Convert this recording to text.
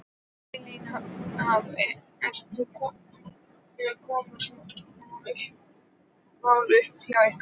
Elín, hafa, eru, koma svona mál upp hjá ykkur?